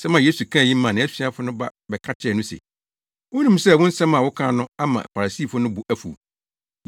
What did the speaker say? Nsɛm a Yesu kaa yi maa nʼasuafo no ba bɛka kyerɛɛ no se, “Wunim sɛ wo nsɛm a wokaa no ama Farisifo no bo afuw?”